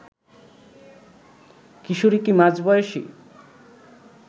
কিশোরী কি মাঝবয়সী